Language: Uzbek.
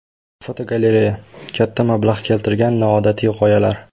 Fotogalereya: Katta mablag‘ keltirgan noodatiy g‘oyalar.